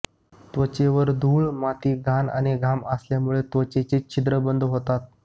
त्वचेवर धूळ माती घाण आणि घाम आल्यामुळे त्वचेचे छिद्र बंद होतात